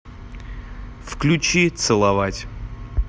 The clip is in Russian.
включи целовать